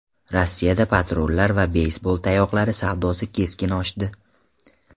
Rossiyada patronlar va beysbol tayoqlari savdosi keskin oshdi.